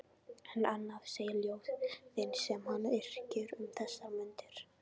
En annað segja ljóðin sem hann yrkir um þessar mundir